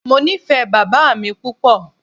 Mo nifẹ baba mi pupọ.